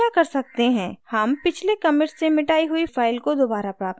हम पिछले कमिट्स से मिटाई हुई फाइल को दोबारा प्राप्त कर सकते हैं